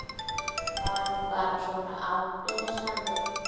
Var hann bara svona afbrýðisamur?